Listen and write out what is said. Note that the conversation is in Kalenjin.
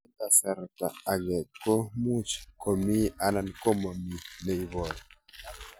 Eng' kasarta ag'e ko much ko mii anan komamii ne ibaru